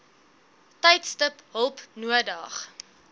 tydstip hulp nodig